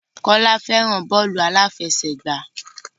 Kọ́lá fẹ́ràn bọ́ọ́lù aláfẹsẹ̀gbá.